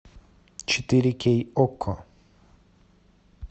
четыре кей окко